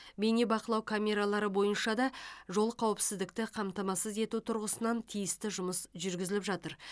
бейнебақылау камералары бойынша да жол қауіпсіздікті қамтамасыз ету тұрғысынан тиісті жұмыс жүргізіліп жатыр